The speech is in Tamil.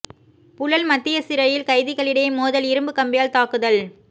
புழல் மத்திய சிறையில் கைதிகளிடையே மோதல் இரும்புக் கம்பியால் தாக்குதல்